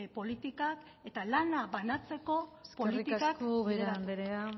politikak eta lana banatzeko politikak bideratu eskerrik asko ubera andrea